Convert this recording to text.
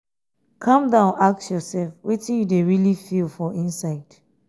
calm down ask ursef um wetin um yu dey rily feel for inside